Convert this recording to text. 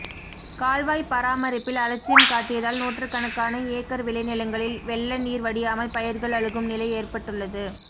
கால்வாய் பராமரிப்பில் அலட்சியம் காட்டியதால் நூற்றுக்கணக்கான ஏக்கர் விளைநிலங்களில் வெள்ள நீர் வடியாமல் பயிர்கள் அழுகும் நிலை ஏற்பட்டுள்ளது